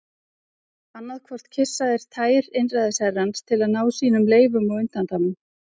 Annað hvort kyssa þeir tær einræðisherrans til að ná sínum leyfum og undanþágum.